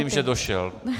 Vidím, že došel.